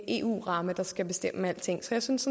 eu ramme der skal bestemme alting så jeg synes